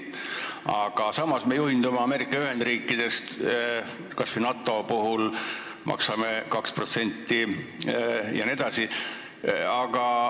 Aga samas me juhindume Ameerika Ühendriikidest, kas või NATO puhul maksame 2% jne.